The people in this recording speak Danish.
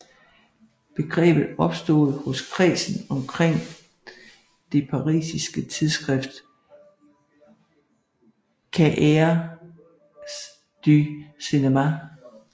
Begrebet opstod hos kredsen omkring det parisiske tidsskrift Cahiers du Cinema